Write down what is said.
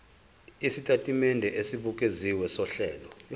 isitatimende esibukeziwe sohlelo